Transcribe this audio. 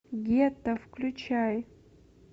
гетто включай